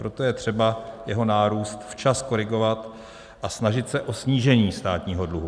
Proto je třeba jeho nárůst včas korigovat a snažit se o snížení státního dluhu.